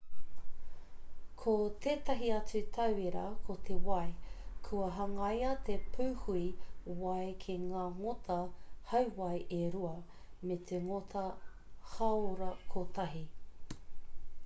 ko tētahi atu tauira ko te wai kua hangaia te pūhui wai ki ngā ngota hauwai e rua me te ngota hāora kotahi